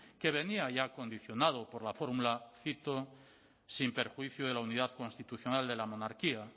que venía ya condicionado por la fórmula cito sin perjuicio de la unidad constitucional de la monarquía